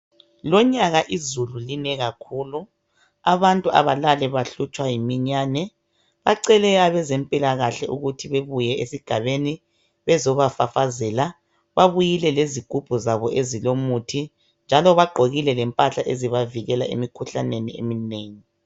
Lonyaka izulu line kakhulu abantu abalali behlutshwa yiminyane bacele abezempilakahle ukuthi babuye esigabeni bezobafafazela babuyile lezigubhu zabo ezilomuthi njalo baqgokile lempahla ezabavikela emikhuhlaneni eminengi.